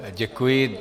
Děkuji.